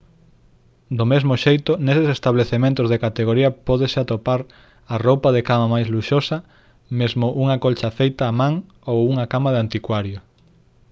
do mesmo xeito neses establecementos de categoría pódese atopar a roupa de cama máis luxosa mesmo unha colcha feita á man ou unha cama de anticuario